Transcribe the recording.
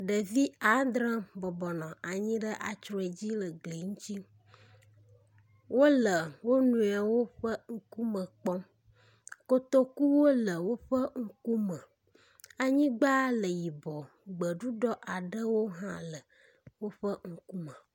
Ɖevi adre bɔbɔnɔ anyi ɖe atrɔe dzi le gbe ŋuti. Wo le wo nɔewo ƒe ŋkume kpɔm. Kotokuwo le woƒe ŋkume. Anyigba le yibɔ gbeɖuɖɔ aɖewo hã le woƒe ŋkume.